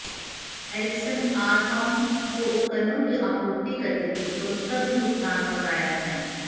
Ericsson RCom को उपकरणों की आपूर्ति करती थी और उसका भी भुगतान बकाया है